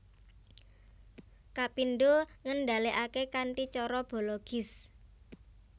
Kapindho ngendhalèkaké kanthi cara bologis